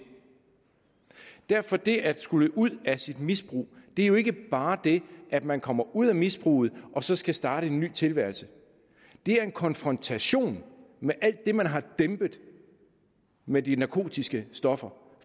derfor er det at skulle ud af sit misbrug jo ikke bare det at man kommer ud af misbruget og så skal starte en ny tilværelse det er en konfrontation med alt det man har dæmpet med de narkotiske stoffer